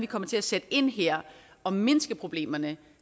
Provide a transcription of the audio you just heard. kommer til at sætte ind her og mindske problemerne